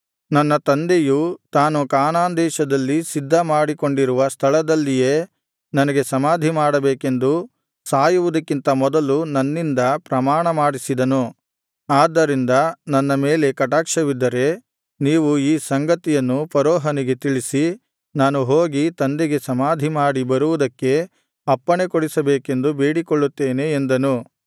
ನನ್ನ ತಂದೆಯು ತಾನು ಕಾನಾನ್ ದೇಶದಲ್ಲಿ ಸಿದ್ಧ ಮಾಡಿಕೊಂಡಿರುವ ಸ್ಥಳದಲ್ಲಿಯೇ ತನಗೆ ಸಮಾಧಿ ಮಾಡಬೇಕೆಂದು ಸಾಯುವುದಕ್ಕಿಂತ ಮೊದಲು ನನ್ನಿಂದ ಪ್ರಮಾಣ ಮಾಡಿಸಿದನು ಆದ್ದರಿಂದ ನನ್ನ ಮೇಲೆ ಕಟಾಕ್ಷವಿದ್ದರೆ ನೀವು ಈ ಸಂಗತಿಯನ್ನು ಫರೋಹನಿಗೆ ತಿಳಿಸಿ ನಾನು ಹೋಗಿ ತಂದೆಗೆ ಸಮಾಧಿ ಮಾಡಿ ಬರುವುದಕ್ಕೆ ಅಪ್ಪಣೆ ಕೊಡಿಸಬೇಕೆಂದು ಬೇಡಿಕೊಳ್ಳುತ್ತೇನೆ ಎಂದನು